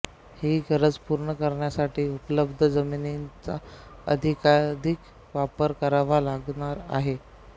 ही गरज पूर्ण करण्यासाठी उपलब्ध जमिनीचा अधिकाधिक वापर करावा लागणार आहे